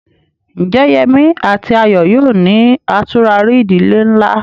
Ǹjẹ́ Yemí àti Ayọ̀ yóò ní àtúrarí ìdílé ńlá?